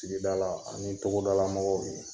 Tigida la, an ye togodala mɔgɔw de ye.